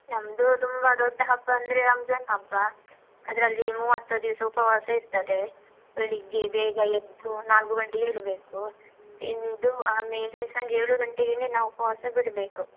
ನಮ್ದು ತುಂಬ ದೊಡ್ಡ ಹಬ್ಬ ಅಂದ್ರೆ ರಂಜಾನ್ ಹಬ್ಬ, ಅದ್ರಲ್ಲಿ ಮೂವತ್ತು ದಿವ್ಸ ಉಪವಾಸ ಇರ್ತದೆ, ಬೆಳಿಗ್ಗೆ ಬೇಗ ಎದ್ದು ನಾಲ್ಕು ಗಂಟೆಗೆ ಏಳ್ಬೇಕು, ತಿಂದು ಆಮೇಲೆ ಸಂಜೆ ಏಳು ಗಂಟೆಗೇನೇ ನಾವು ಉಪವಾಸ ಬಿಡ್ಬೇಕು.